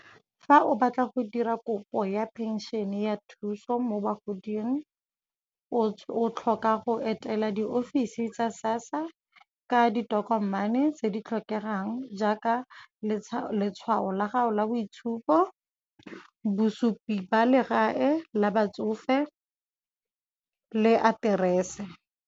Fa o batla go dira kopo ya phenšene ya thuso mo bagoding, o tlhoka go etela di ofisi tsa SASSA ka ditokomane tse di tlhokegang jaaka letshwao la gago la boitshupo, bosupi ba legae la batsofe le aterese.